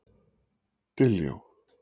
Diljá